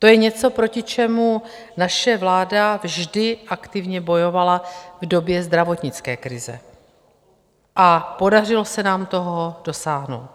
To je něco, proti čemu naše vláda vždy aktivně bojovala v době zdravotnické krize a podařilo se nám toho dosáhnout.